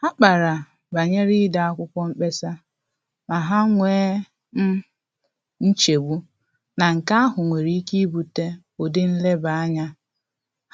Ha kpara banyere ide akwụkwọ mkpesa, ma ha nwee um nchegbu na nke ahụ nwere ike ibute ụdị nleba-anya